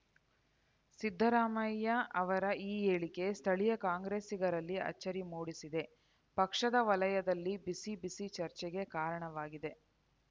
ಸಿದ್ದರಾಮಯ್ಯ ಅವರ ಈ ಹೇಳಿಕೆ ಸ್ಥಳೀಯ ಕಾಂಗ್ರೆಸ್ಸಿಗರಲ್ಲಿ ಅಚ್ಚರಿ ಮೂಡಿಸಿದೆ ಪಕ್ಷದ ವಲಯದಲ್ಲಿ ಬಿಸಿ ಬಿಸಿ ಚರ್ಚೆಗೆ ಕಾರಣವಾಗಿದೆ